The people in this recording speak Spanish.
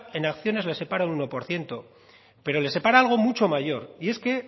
en acciones les separa un uno por ciento pero les separa algo mucho mayor y es que